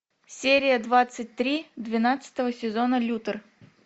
серия двадцать три двенадцатого сезона лютер